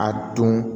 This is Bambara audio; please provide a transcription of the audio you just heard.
A dun